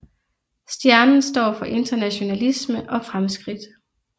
Stjernen står for internationalisme og fremskridt